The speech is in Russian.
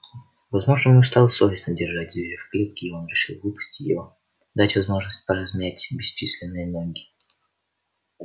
возможно ему стало совестно держать зверя в клетке и он решил выпустить его дать возможность поразмять бесчисленные ноги